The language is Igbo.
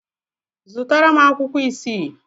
Zụtara m akwụkwọ isii.